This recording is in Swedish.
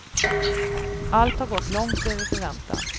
Allt har gått långt över förväntan.